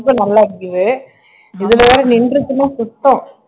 ரொம்ப நல்லா அடிக்குது இதுல வேறா நின்றுச்சுன்னா சுத்தம்